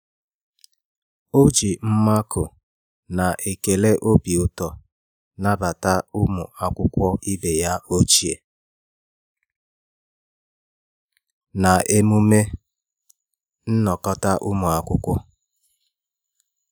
O ji mmakụ na ekele obi ụtọ nabata ụmụ akwụkwọ ibeya ochie na emume nnọkọta ụmụ akwụkwọ